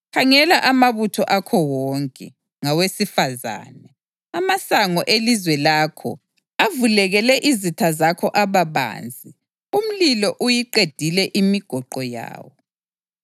Khangela amabutho akho wonke, ngawesifazane! Amasango elizwe lakho avulekele izitha zakho aba banzi; umlilo uyiqedile imigoqo yawo.